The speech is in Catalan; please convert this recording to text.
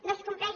no es compleix